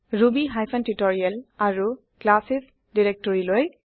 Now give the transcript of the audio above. Ruby hyphen tutorial আৰু classes ডিৰেক্টৰিলৈ